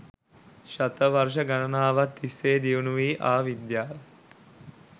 ශතවර්ශ ගණනාවක් තිස්සේ දියුණු වී ආ විද්‍යාවෙන්